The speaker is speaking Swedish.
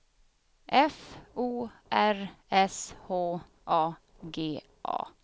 F O R S H A G A